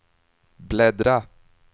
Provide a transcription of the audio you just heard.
bläddra